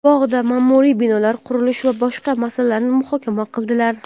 bog‘da ma’muriy binolar qurish va boshqa masalalarni muhokama qildilar.